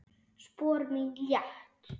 Spor mín létt.